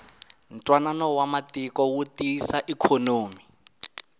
ntwanano wa matiko wu tiyisa ikhonomi